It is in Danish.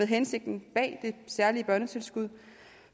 hensigten bag det særlige børnetilskud